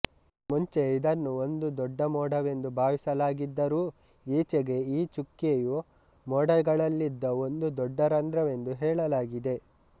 ಮುಂಚೆ ಇದನ್ನು ಒಂದು ದೊಡ್ಡ ಮೋಡವೆಂದು ಭಾವಿಸಲಾಗಿದ್ದರೂ ಈಚೆಗೆ ಈ ಚುಕ್ಕೆಯು ಮೋಡಗಳಲ್ಲಿದ್ದ ಒಂದು ದೊಡ್ಡ ರಂಧ್ರವೆಂದು ಹೇಳಲಾಗಿದೆ